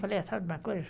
Falei, sabe de uma coisa?